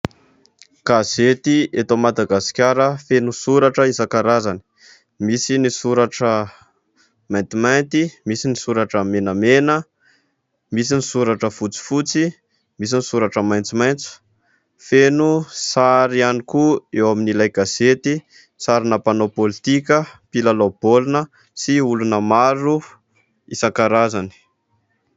Gazety eto Madagasikara feno soratra isan-karazany : misy ny soratra maintimainty, misy ny soratra menamena, misy ny soratra fotsifotsy, misy ny soratra maitsomaitso, feno sary ihany koa eo amin'ilay gazety : sarina mpanao pôlitika, mpilalao baolina sy olona maro isan-karazany.